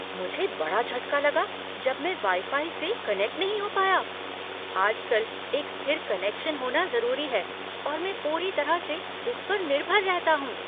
मुझे बड़ा झटका लगा जब मैं वाई फाई से कनेक्ट नहीं हो पाया। आजकल एक स्थिर कनेक्शन होना जरूरी है और मैं पूरी तरह से इस पर निर्भर रहता हूँ।